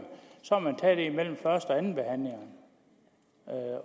så har man taget det imellem første og andenbehandlingen